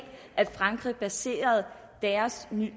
at frankrig havde placeret deres